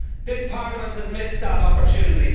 This Parliament has missed that opportunity.